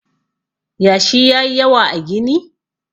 yashi ya yi yawa a gini?